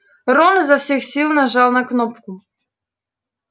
рон изо всех сил нажал на кнопку